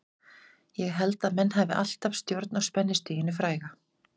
Ég held að menn hafi alltaf stjórn á spennustiginu fræga.